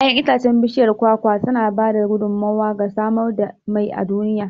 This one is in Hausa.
Yaƴan itacen bishiyar kwakwa sana ba da gudummawa ga samar da mai a duniya.